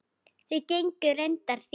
Þau gengu reyndar þétt.